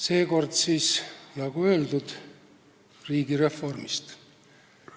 Seekord siis, nagu öeldud, riigireformist.